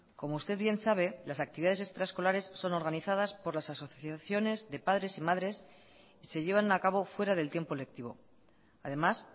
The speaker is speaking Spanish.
como usted bien sabe las actividades extraescolares son organizadas por las asociaciones de padres y madres y se llevan a cabo fuera del tiempo lectivo además